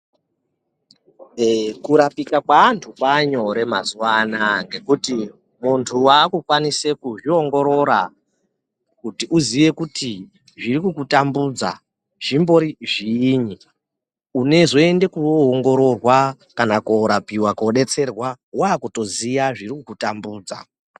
Eee kurapika kweantu kwanyore mazuva anaya ngekuti muntu vakukwanise kuzviongorora kuti uziye kuti zvirikukutambudza zvimbori zviyinyi. Unozoendeko vaongororwa kana korapiva kobetserwa vakutoziya zviri kukutambudza.